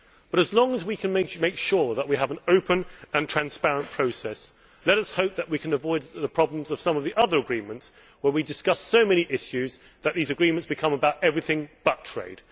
But as long as we can make sure that we have an open and transparent process, let us hope that we can avoid the problems of some of the other agreements where we discuss so many issues that they become about everything but trade.